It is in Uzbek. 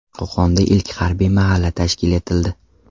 Qo‘qonda ilk harbiy mahalla tashkil etildi .